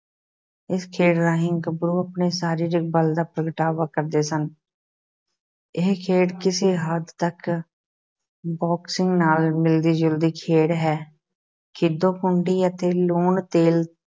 ਇਸ ਖੇਡ ਰਾਹੀਂ ਗੱਭਰੂ ਆਪਣੇ ਸਰੀਰਿਕ ਬਲ ਦਾ ਪ੍ਰਗਟਾਵਾ ਕਰਦੇ ਸਨ ਇਹ ਖੇਡ ਕਿਸੇ ਹੱਦ ਤੱਕ ਬੌਕਸਿੰਗ ਨਾਲ ਮਿਲਦੀ-ਜੁਲਦੀ ਖੇਡ ਹੈ, ਖਿੱਦੋ-ਖੂੰਡੀ ਅਤੇ ਲੂਣ-ਤੇਲ